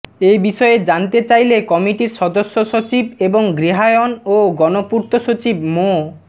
এ বিষয়ে জানতে চাইলে কমিটির সদস্য সচিব এবং গৃহায়ন ও গণপূর্ত সচিব মো